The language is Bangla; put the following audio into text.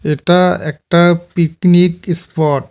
এটা একটা পিকনিক ইস্পট ।